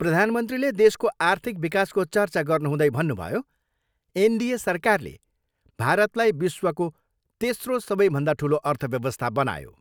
प्रधानमन्त्रीले देशको आर्थिक विकासको चर्चा गर्नुहुँदै भन्नुभयो, एनडिए सरकारले भारतलाई विश्वको तेस्रो सबैभन्दा ठुलो अर्थव्यवस्था बनायो।